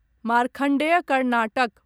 Markandeya Karnataka